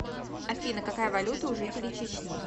афина какая валюта у жителей чечни